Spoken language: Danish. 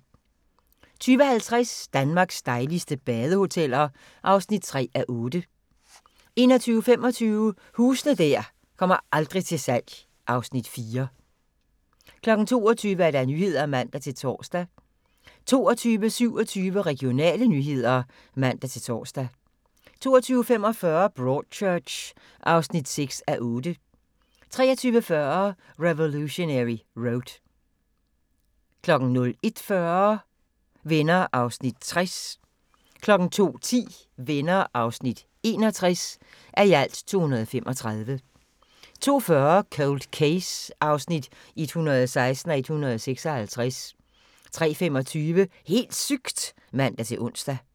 20:50: Danmarks dejligste badehoteller (3:8) 21:25: Huse der aldrig kommer til salg (Afs. 4) 22:00: Nyhederne (man-tor) 22:27: Regionale nyheder (man-tor) 22:45: Broadchurch (6:8) 23:40: Revolutionary Road 01:40: Venner (60:235) 02:10: Venner (61:235) 02:40: Cold Case (116:156) 03:25: Helt sygt! (man-ons)